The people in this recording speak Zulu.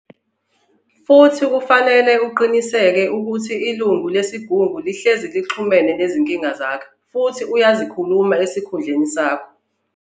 Futhi kufanele ukuthi uqiniseke ukuthi ilungu lesiGungu sihlezi lixhumene yezinkinga zakho futhi uyazikhuluma esikhundleki sakho.